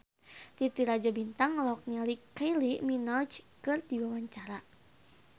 Titi Rajo Bintang olohok ningali Kylie Minogue keur diwawancara